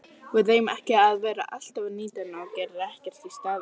Við eigum ekki að vera alltaf að nýta hana og gera ekkert í staðinn.